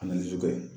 A nana ju kɛ